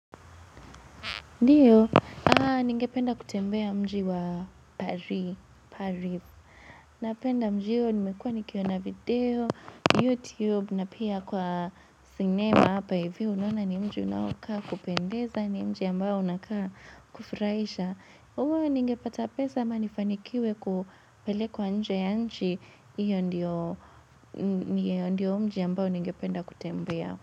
Ndiyo, ningependa kutembea mji wa Paris. Napenda mji hiyo, nimekua nikiona video YouTube, na pia kwa sinema hapa hivyo. Unona ni mji unaokaa kupendeza ni mji ambao unakaa kufurahisha uwe ningepata pesa ama nifanikiwe kupelekwa nje ya nchi iyo ndiyo mji ambayo ningependa kutembea.